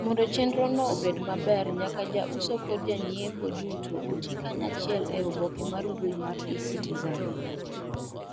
Mondo chendrono obed maber nyaka jauso kod janyiepo duto otii kanyaachiel eoboke mar mbuyi mar e-citizen